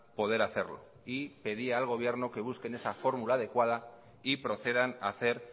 poder hacerlo y pedía al gobierno que busquen esa fórmula adecuada y procedan a hacer